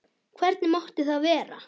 Hvernig mátti það vera?